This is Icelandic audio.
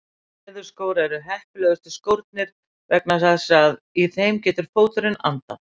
Leðurskór eru heppilegustu skórnir vegna þess að í þeim getur fóturinn andað.